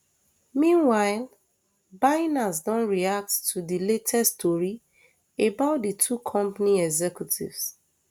meanwhile binance don react to di latest tori about di two company executives